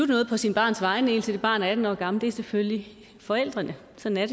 noget på sit barns vegne indtil det barn er atten år gammel det er selvfølgelig forældrene sådan er